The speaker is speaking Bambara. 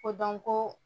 Ko dɔn ko